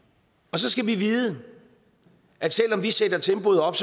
så skal vi vide at selv om vi sætter tempoet op